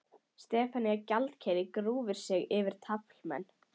Stefanía gjaldkeri grúfir sig yfir taflmenn.